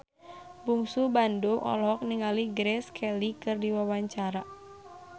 Bungsu Bandung olohok ningali Grace Kelly keur diwawancara